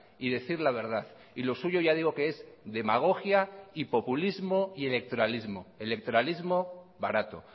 y decir la verdad y lo suyo ya digo que es demagogia y populismo y electoralismo electoralismo barato